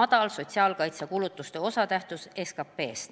madal sotsiaalkaitsekulutuste osatähtsus SKP-s.